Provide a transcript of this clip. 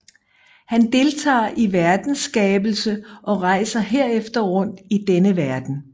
Han deltager i verdens skabelse og rejser herefter rundt i denne verden